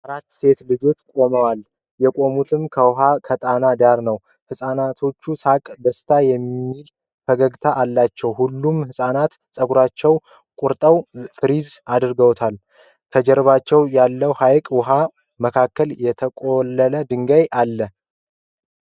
አራት ሴቶች ልጆች ቁመዋል ። የቆሙትን ከውሃ ከጣና ዳር ነው ። የህፃናቶች ሳቅ ደስ የሚል ፈገግታ አለው ። ሁሉም ፃናቶች ጸጉራቸውን ቆርጠው ፍሪዝ አድርገውታል። ከጀርባቸው ያለው ሀይቅ ውሃው መካከል የተቆለለ ድንጋይ አለ።